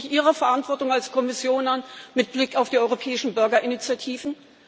Schauen Sie sich Ihre Verantwortung als Kommission an, mit Blick auf die europäischen Bürgerinitiativen!